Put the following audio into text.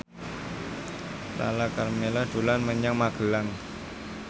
Lala Karmela dolan menyang Magelang